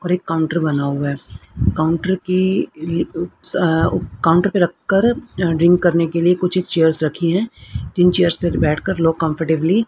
और एक काउंटर बना हुआ है काउंटर की ई अ ऊ अ काउंटर पर रखकर ड्रिंक करने के लिए कुछ चेयर्स रखी हैं इन चेयर्स पे बैठकर लोग कंफरटेबली --